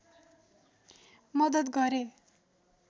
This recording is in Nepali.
मदत गरे